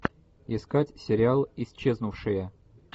искать сериал исчезнувшие